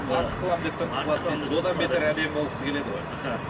артық қыламын деп тыртық қылады дейсіз одан бетер әдемі болғысы келеді ғой аха